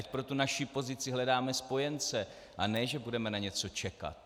Ať pro tu naši pozici hledáme spojence, a ne že budeme na něco čekat.